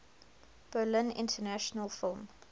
berlin international film